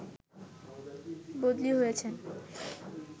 বদলি হয়েছেন